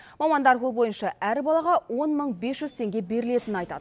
мамандар бұл бойынша әр балаға он мың бес жүз теңге берілетінін айтады